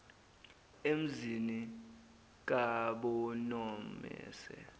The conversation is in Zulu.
emzini kab nomese